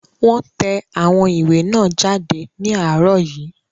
Wọ́n tẹ àwọn ìwé náà jáde ní àárọ̀ yìí